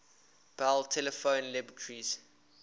bell telephone laboratories